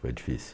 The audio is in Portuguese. Foi difícil.